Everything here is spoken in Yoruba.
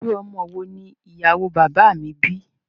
Irú ọmọ wo ni ìyàwó o bàbá à mi bí?